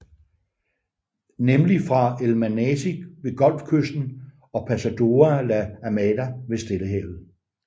Nemlig fra El Manati ved Golfkysten og Pasoda la Amada ved Stillehavet